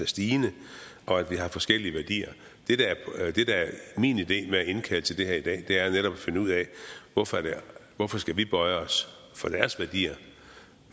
stigende og at vi har forskellige værdier det der er min idé med at indkalde til det her i dag er netop at finde ud af hvorfor skal vi bøje os for deres værdier